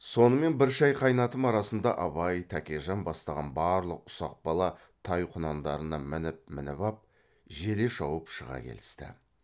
сонымен бір шай қайнатым арасында абай тәкежан бастаған барлық ұсақ бала тай құнандарына мініп мініп ап желе шауып шыға келісті